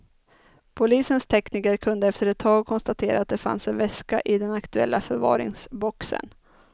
Polisens tekniker kunde efter ett tag konstatera att det fanns en väska i den aktuella förvaringsboxen.